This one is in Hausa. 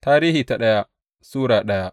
daya Tarihi Sura daya